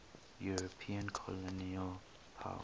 european colonial powers